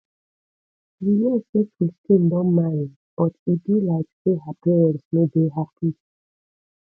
you hear say christine don marry but e be like say her parents no dey happy